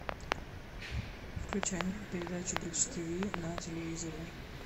включай передачу бридж тв на телевизоре